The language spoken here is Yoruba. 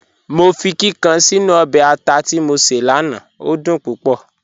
Mọ fi kíkàn sínu ọbẹ̀ àtà tí mọ ṣé lánà, o dún púpọ̀.